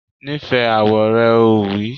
Nífẹ̀ẹ́ àwọ̀ rẹ! Ó wí